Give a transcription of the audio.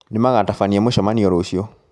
Nĩmagatabania mũcemanio rũciũ